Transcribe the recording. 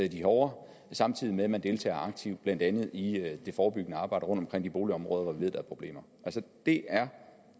de hårde samtidig med at man deltager aktivt blandt andet i det forebyggende arbejde rundtomkring i de boligområder hvor vi ved der er problemer altså det er